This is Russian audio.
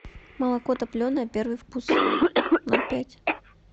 молоко топленое первый вкус ноль пять